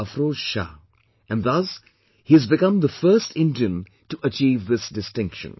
Afroz Shah, and thus he has become the first Indian to achieve this distinction